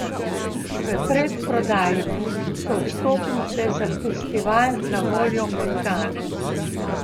V predprodaji so vstopnice za festival na voljo od danes.